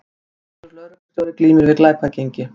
Tvítugur lögreglustjóri glímir við glæpagengi